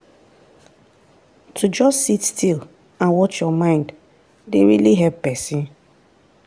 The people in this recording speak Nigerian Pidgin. to just sit still and watch your mind dey really help person.